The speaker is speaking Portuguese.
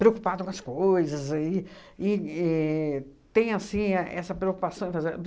Preocupado com as coisas e e éh tem, assim, essa preocupação em fazer